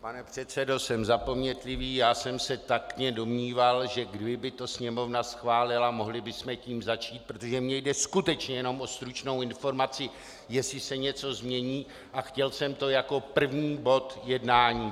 Pane předsedo, jsem zapomnětlivý, já jsem se taktně domníval, že kdyby to Sněmovna schválila, mohli bychom tím začít, protože mně jde skutečně jenom o stručnou informaci, jestli se něco změní, a chtěl jsem to jako první bod jednání.